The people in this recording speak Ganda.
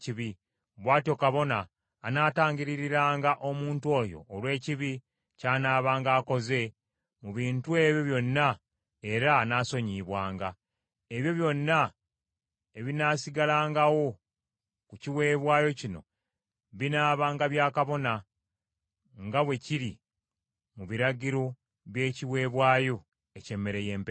Bw’atyo kabona anaatangiririranga omuntu oyo olw’ekibi ky’anaabanga akoze mu bintu ebyo byonna, era anaasonyiyibwanga. Ebyo byonna ebinaasigalangawo ku kiweebwayo kino binaabanga bya kabona, nga bwe kiri mu biragiro by’ekiweebwayo eky’emmere y’empeke.’ ”